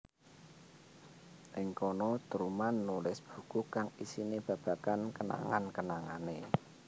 Ing kana Truman nulis buku kang isine babagan kenangan kenangane